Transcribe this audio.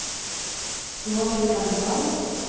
Joachim Grønvold